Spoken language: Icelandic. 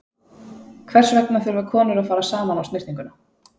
Hvers vegna þurfa konur að fara saman á snyrtinguna?